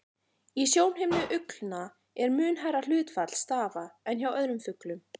Í sjónhimnu uglna er mun hærra hlutfall stafa en hjá öðrum fuglum.